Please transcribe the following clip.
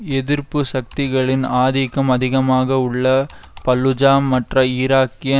எதிர்ப்பு சக்திகளின் ஆதிக்கம் அதிகமாக உள்ள பல்லுஜா மற்ற ஈராக்கிய